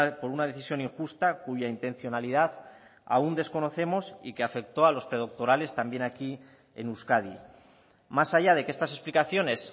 por una decisión injusta cuya intencionalidad aún desconocemos y que afectó a los predoctorales también aquí en euskadi más allá de que estas explicaciones